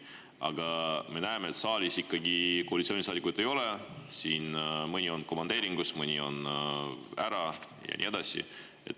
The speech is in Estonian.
Aga me näeme, et saalis koalitsioonisaadikuid ikkagi ei ole, mõni on komandeeringus, mõni on ära ja nii edasi.